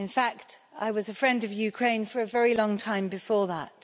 In fact, I was a friend of Ukraine for a very long time before that.